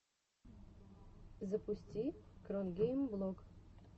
запусти кронгеймблог